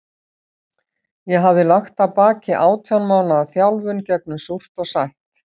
Ég hafði lagt að baki átján mánaða þjálfun gegnum súrt og sætt.